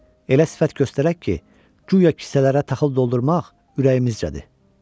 Elə sifət göstərək ki, guya kisələrə taxıl doldurmaq ürəyimizcədir.